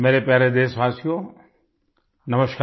मेरे प्यारे देशवासियोनमस्कार